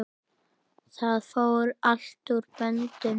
Það fór allt úr böndum.